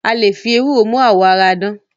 A le fi ewúro mú àwọ̀ ara dán.